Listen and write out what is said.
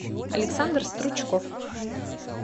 александр стручков